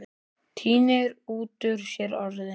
Tínir út úr sér orðin.